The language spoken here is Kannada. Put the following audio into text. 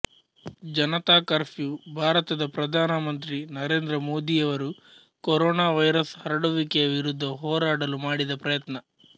ಜನತಾ ಕರ್ಫ್ಯೂ ಭಾರತದ ಪ್ರಧಾನ ಮಂತ್ರಿ ನರೇಂದ್ರ ಮೋದಿಯವರು ಕೊರೋನಾವೈರಸ್ ಹರಡುವಿಕೆಯ ವಿರುದ್ಧ ಹೋರಾಡಲು ಮಾಡಿದ ಪ್ರಯತ್ನ